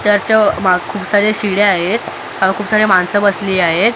त्याच माग खूप सारे शिड्या आहेत आणि खूप सारे माणसं बसली आहेत.